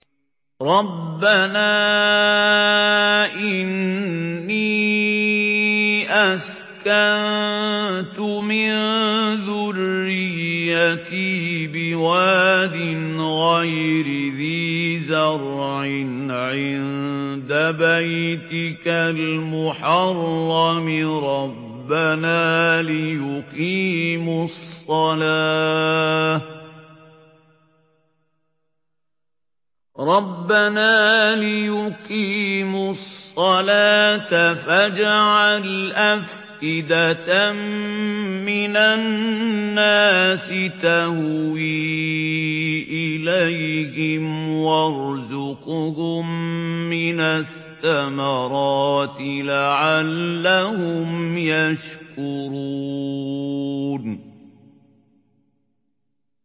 رَّبَّنَا إِنِّي أَسْكَنتُ مِن ذُرِّيَّتِي بِوَادٍ غَيْرِ ذِي زَرْعٍ عِندَ بَيْتِكَ الْمُحَرَّمِ رَبَّنَا لِيُقِيمُوا الصَّلَاةَ فَاجْعَلْ أَفْئِدَةً مِّنَ النَّاسِ تَهْوِي إِلَيْهِمْ وَارْزُقْهُم مِّنَ الثَّمَرَاتِ لَعَلَّهُمْ يَشْكُرُونَ